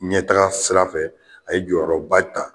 Ɲɛtaga sira fɛ a ye jɔyɔrɔba ta